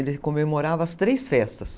Ele comemorava as três festas.